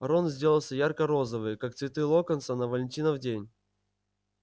рон сделался ярко-розовый как цветы локонса на валентинов день